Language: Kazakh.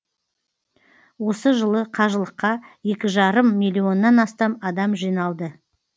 осы жылы қажылыққа екі жарым миллионнан астам адам жиналды